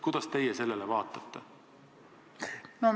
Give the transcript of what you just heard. Kuidas teie sellele vaatate?